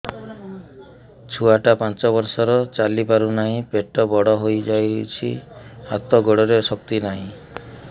ଛୁଆଟା ପାଞ୍ଚ ବର୍ଷର ଚାଲି ପାରୁ ନାହି ପେଟ ବଡ଼ ହୋଇ ଯାଇଛି ହାତ ଗୋଡ଼ରେ ଶକ୍ତି ନାହିଁ